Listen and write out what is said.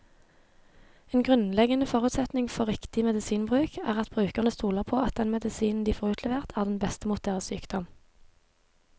En grunnleggende forutsetning for riktig medisinbruk er at brukerne stoler på at den medisinen de får utlevert, er den beste mot deres sykdom.